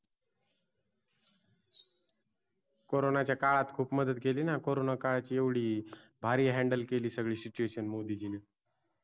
CORONA च्या काळात खूप मदत केली ना CORONA काळात एवढी भारी HANDEL केली SITUATION मोदींजी नि